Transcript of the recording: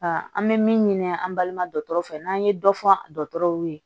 an bɛ min ɲini an balima dɔgɔtɔrɔ fɛ n'an ye dɔ fɔ dɔgɔtɔrɔw ye